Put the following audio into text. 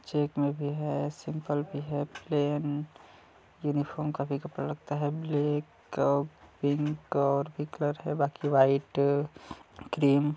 check में भी है सिंपल में भी है प्लेन यूनिफार्म का भी कपड़ा लगता है ब्लैक अउ पिंक और बाकि वाईट क्रीम --